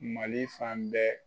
Mali fan bɛɛ